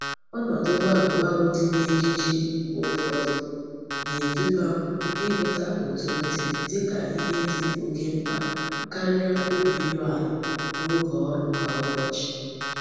Onodu gbalu gbalu di n'ji ejiji mgbe ufodu na-eduba m ihuta otu m di dika ihe di oke mkpa karia obi iruala n'oge órú kwa ubochi.